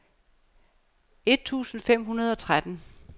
et tusind fem hundrede og tretten